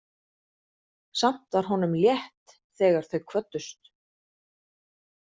Samt var honum létt þegar þau kvöddust.